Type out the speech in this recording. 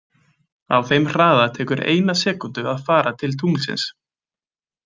Á þeim hraða tekur eina sekúndu að fara til tunglsins.